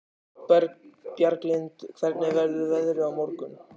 Bjarglind, hvernig verður veðrið á morgun?